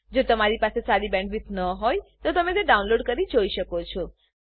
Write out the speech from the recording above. જો તમારી પાસે સારી બેન્ડવિડ્થ ન હોય તો તમે વિડીયો ડાઉનલોડ કરીને જોઈ શકો છો